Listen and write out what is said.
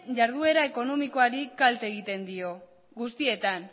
jarduera ekonomikoari kalte egiten dio guztietan